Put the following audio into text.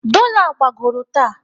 Dola gbagoro taa.